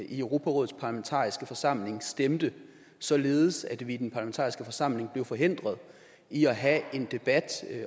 i europarådets parlamentariske forsamling stemte således at vi i den parlamentariske forsamling blev forhindret i at have en debat